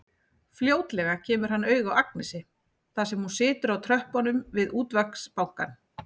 Fljótlega kemur hann auga á Agnesi þar sem hún situr á tröppunum við Útvegsbankann.